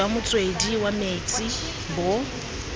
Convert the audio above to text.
jwa motswedi wa metsi bo